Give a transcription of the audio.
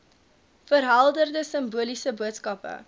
verhelderende simboliese boodskappe